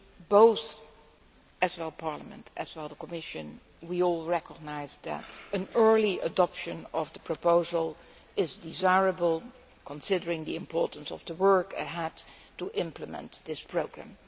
Both Parliament and Commission recognise that an early adoption of the proposal is desirable, considering the importance of the work ahead to implement this programme.